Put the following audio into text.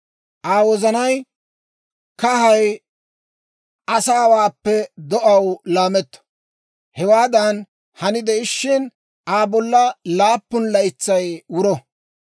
Aa wozanay kahay asaawaappe do'aaw laametto. Hewaadan hani de"ishin, Aa bolla laappun laytsay wuro.